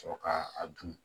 Sɔrɔ ka a dun